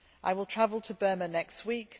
I will travel to Burma next week.